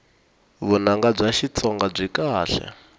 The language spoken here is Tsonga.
vunanga bya xitsonga byi kahle